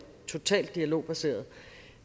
totalt dialogbaserede